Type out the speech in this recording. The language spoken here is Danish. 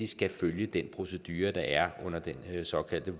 skal følge den procedure der er under den såkaldte